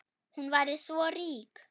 Hún væri svo rík.